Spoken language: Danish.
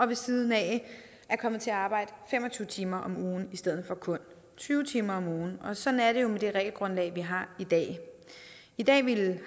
ved siden af er kommet til at arbejde fem og tyve timer om ugen i stedet for kun tyve timer om ugen og sådan er det jo med det regelgrundlag vi har i dag i dag vil den